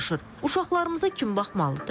Uşaqlarımıza kim baxmalıdır?